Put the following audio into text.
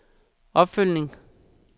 opfølgning